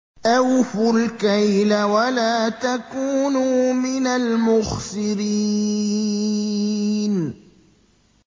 ۞ أَوْفُوا الْكَيْلَ وَلَا تَكُونُوا مِنَ الْمُخْسِرِينَ